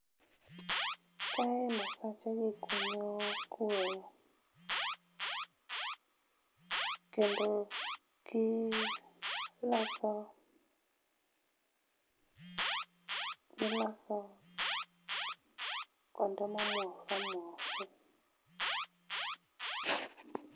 Kae masachegi kunyo kuoyo. Kendo gi loso, gi loso kuonde mo omuo oumuomore.